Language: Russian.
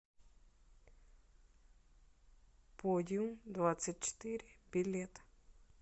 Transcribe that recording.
подиумдвадцатьчетыре билет